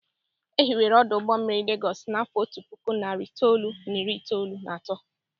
E hiwere ọdụ ụgbọ mmiri Legọs n'afọ otu puku, nari itoolu, na iri na atọ.